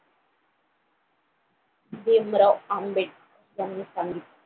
भीमराव आंबेडकर यांनी सांगितलं